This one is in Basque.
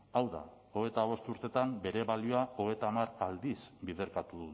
hau da hogeita bost urtetan bere balioa hogeita hamar aldiz biderkatu